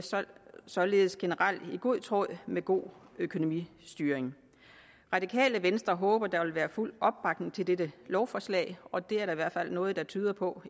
således generelt i god tråd med god økonomistyring radikale venstre håber der vil være fuld opbakning til dette lovforslag og det er der i hvert fald noget der tyder på